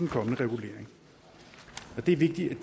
kommende regulering det er vigtigt at